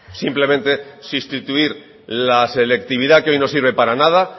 simplemente sustituir la selectividad que hoy no sirve para nada